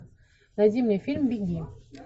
найди мне фильм беги